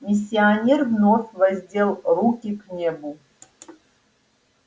миссионер вновь воздел руки к небу